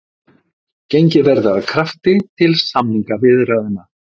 Gengið verði að krafti til samningaviðræðna